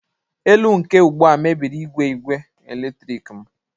elu nke ugbu a mebiri igwe igwe eletrik m